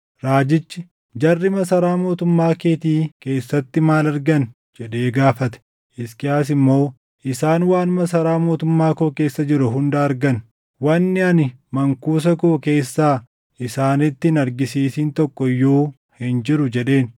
Raajichi, “Jarri masaraa mootummaa keetii keessatti maal argan?” jedhee gaafate. Hisqiyaas immoo, “Isaan waan masaraa mootummaa koo keessa jiru hunda argan. Wanni ani mankuusa koo keessaa isaanitti hin argisiisin tokko iyyuu hin jiru” jedheen.